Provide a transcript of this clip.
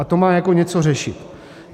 A to má jako něco řešit.